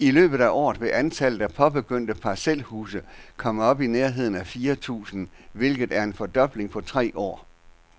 I løbet af året vil antallet af påbegyndte parcelhuse komme op i nærheden af fire tusind, hvilket er en fordobling på tre år.